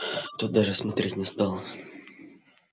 тот даже смотреть не стал